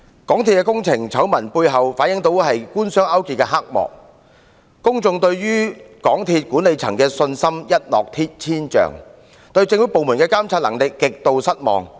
港鐵工程醜聞背後反映了官商勾結的黑幕，令公眾對港鐵公司管理層的信心一落千丈，對政府部門的監察能力極度失望。